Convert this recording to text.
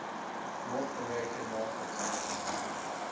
north american market